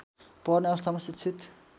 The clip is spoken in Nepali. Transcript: पर्ने अवस्थामा शिक्षित